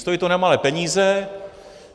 Stojí to nemalé peníze.